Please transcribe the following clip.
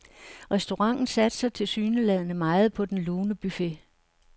Restauranten satser tilsyneladende meget på den lune buffet.